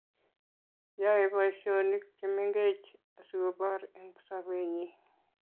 yae boisionik chemengech asigoboor eng sobenyi